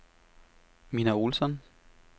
Minna Olsson